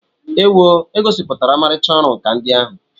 Ewoo! E gosipụtara ọmarịcha ọrụ nkà ndị ahụ.